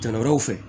Jala wɛrɛw fɛ